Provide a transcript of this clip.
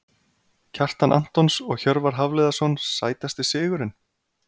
Kjartan Antons og Hjörvar Hafliðason Sætasti sigurinn?